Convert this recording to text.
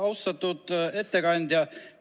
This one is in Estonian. Austatud ettekandja!